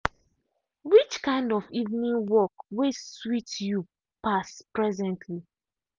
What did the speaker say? which kind of evening work way sweet you pass presently.